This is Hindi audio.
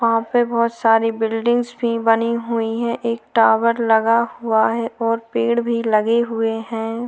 वहा पे बहुत सारी बिल्डिंगस भी बनी हुई है एक टावर लगा हुआ है और पेड़ भी लगे हुए है।